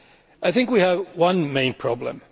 I think we have one main problem.